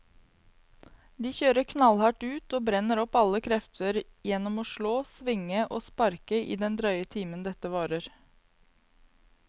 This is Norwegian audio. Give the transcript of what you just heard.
De kjører knallhardt ut og brenner opp alle krefter gjennom å slå, svinge og sparke i den drøye timen dette varer.